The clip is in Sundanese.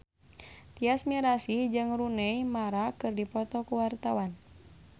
Tyas Mirasih jeung Rooney Mara keur dipoto ku wartawan